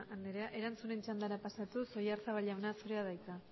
anderea erantzunen txandara pasatuz oyarzabal jauna zure da hitza